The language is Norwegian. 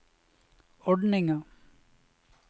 ordninga